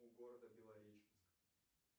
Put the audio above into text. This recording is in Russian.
у города белореченск